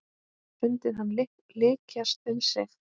Fundið hann lykjast um sig.